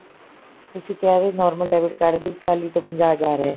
ਤੁਸੀਂ ਕਿਹਾ ਵੀ normal debit card ਦੀ ਚਾਲੀ ਤੋਂ ਪੰਜਾਹ ਹਜ਼ਾਰ ਹੈ